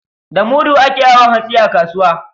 Da mudu ake awon hatsi a kasuwa.